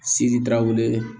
Sididaw wele